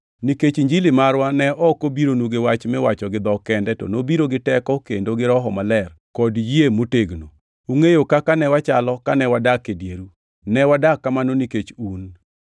nikech Injili marwa ne ok obironu gi wach miwacho gi dhok kende, to nobironu gi teko kendo gi Roho Maler, kod yie motegno. Ungʼeyo kaka ne wachalo kane wadak e dieru, ne wadak kamano nikech un.